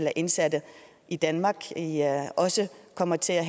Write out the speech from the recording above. af indsatte i danmark også kommer til at